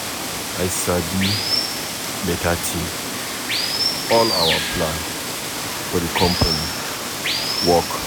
I sabi beta thing. All our plan for the company work.